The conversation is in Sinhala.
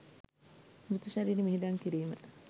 මෘත ශරීරය මිහිදන් කිරීම